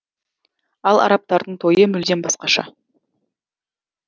ал арабтардың тойы мүлдем басқаша